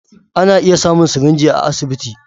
Ana iya samun sirinji a asibiti.